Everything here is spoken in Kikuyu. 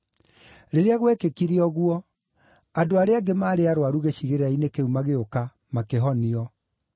Rĩrĩa gwekĩkire ũguo, andũ arĩa angĩ maarĩ arũaru gĩcigĩrĩra-inĩ kĩu magĩũka, makĩhonio.